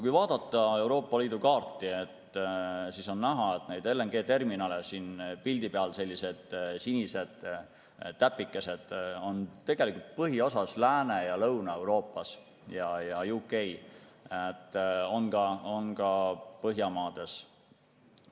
Kui vaadata Euroopa Liidu kaarti, siis on näha, et LNG-terminale – need on siin pildi peal sellised sinised täpikesed – on tegelikult põhiosas Lääne- ja Lõuna-Euroopas ja UK-s, on ka Põhjamaades.